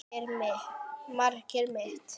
Markið mitt?